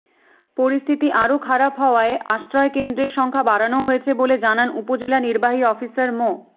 পরিস্থিতি আরও খারাপ হওয়ায় আশ্রয়কেন্দ্রের সংখ্যা বাড়ানো হয়েছে বলে জানান উপজেলা নির্বাহী অফিসার মো